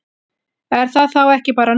Er það þá ekki bara nóg?